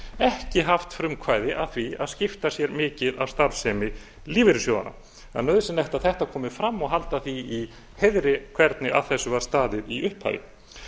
ekki haft frumkvæði að því að skipta sér mikið af starfsemi lífeyrissjóðanna það er nauðsynlegt að þetta komi frama og halda því í heiðri hvernig að þessu var staðið í upphafi